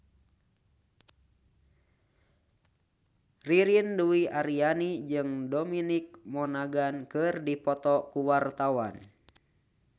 Ririn Dwi Ariyanti jeung Dominic Monaghan keur dipoto ku wartawan